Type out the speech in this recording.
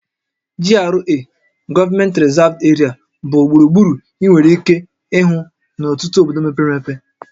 GRA(Government Reserved Area) bụ gburugburu ị nwekwara ike ịhụ n'ọtụtụ obodo mepere emepe